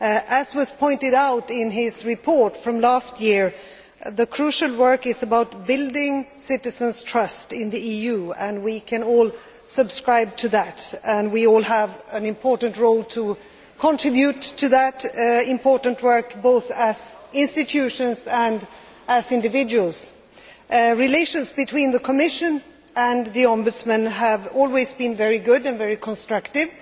As was pointed out in his report from last year, the crucial work is about building citizens' trust in the EU, and we can all subscribe to that. We all have an important role to contribute to that important work, both as institutions and as individuals. Relations between the Commission and the Ombudsman have always been very good and very constructive.